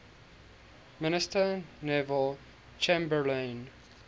minister neville chamberlain